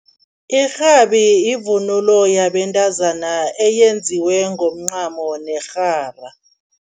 Irhabi yivunulo yabentazana eyenziwe ngomncamo nerhara.